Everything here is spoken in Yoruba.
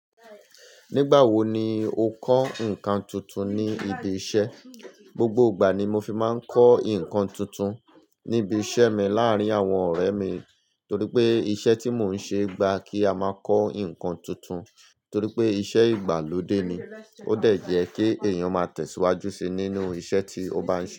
Nígbà wo ni o kọ́ nǹkan tuntun ní ibi iṣẹ́? Gbogbo ìgbà ni mo fi máa ń kọ́ ǹkan tuntun ní ibi iṣẹ́ mi láàrín àwọn ọ̀rẹ́ mi torípé iṣẹ́ tí mon ṣe gbà kí a ma kọ́ ǹkan tuntun torípé iṣẹ́ ìgbàlódé ni ó dẹ̀ jẹ́ kí èèyàn máa tẹ̀síwájú síi nínú iṣẹ́ tí ó bá ń ṣe.